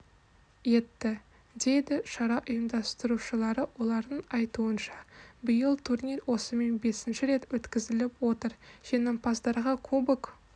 етті дейді шара ұйымдастырушылары олардың айтуынша биыл турнир осымен бесінші рет өткізіліп отыр жеңімпаздарға кубок